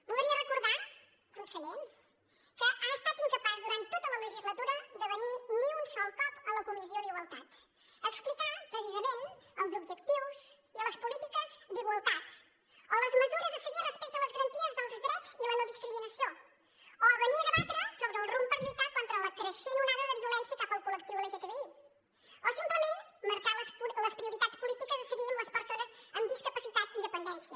voldria recordar conseller que ha estat incapaç durant tota la legislatura de venir ni un sol cop a la comissió d’igualtat a explicar precisament els objectius i les polítiques d’igualtat o les mesures a seguir respecte a les garanties dels drets i la no discriminació o venir a debatre sobre el rumb per lluitar contra la creixent onada de violència cap al col·lectiu lgtbi o simplement marcar les prioritats polítiques a seguir amb les persones amb discapacitat i dependència